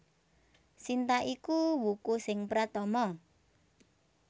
Sinta iku wuku sing pratama